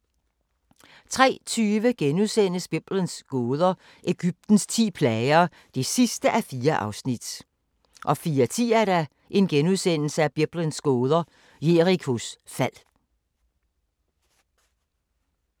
03:20: Biblens gåder – Egyptens ti plager (4:4)* 04:10: Biblens gåder – Jerikos fald *